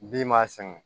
Bin m'a sɛgɛn